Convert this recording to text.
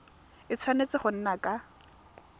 a tshwanetse go nna ka